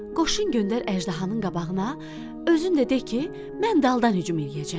Qoşun göndər əjdahanın qabağına, özün də de ki, mən daldan hücum eləyəcəm.